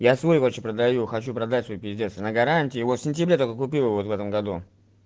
я свой вообще продаю хочу продать свой пиздец на гарантии в его в сентябре только купил вот в этом году